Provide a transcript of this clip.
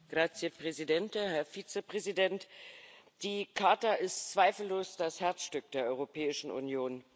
Herr Präsident, Herr Vizepräsident! Die Charta ist zweifellos das Herzstück der Europäischen Union.